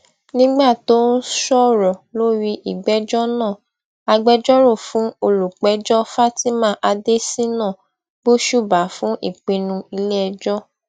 nígbà tó ń sọrọ lórí ìgbèjọ náà agbẹjọrò fún olùpẹjọ fatima adésínà gbósùbà fún ìpinnu iléẹjọ